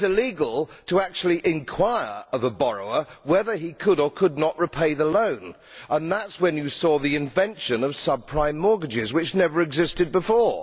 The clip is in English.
It became illegal to inquire of a borrower whether he could or could not repay the loan, and that is when you saw the invention of subprime mortgages, which had never existed before.